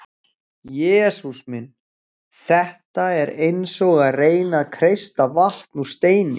Jesús minn, þetta er eins og að reyna að kreista vatn úr steini.